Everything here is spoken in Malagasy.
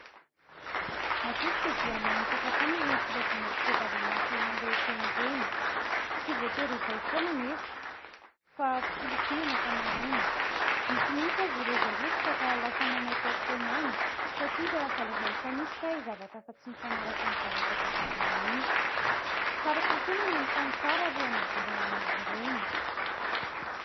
Matetika dia mamitaka hatrany ireny filazana fitadiavana asa eny rehetra eny ireny. Tsy voatery ho izay foana anefa, fa fisolokiana ny ankamaroany. Misy mihintsy aza ireo izay roboka ka lasa manaotao foana any, satria ilay asa lazainy fa misy kay zavatra hafa tsy mifanaraka amin'ny zavatra tadiavina mihintsy. Tsara kokoa ny manontany tsara alohan'ny idirana amin'izy ireny.